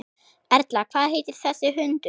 Erla: Hvað heitir þessi hundur?